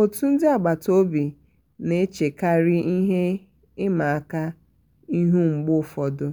otu um ndi agbata obi na-echekari ihe ịma aka ihu mgbe ụfọdụ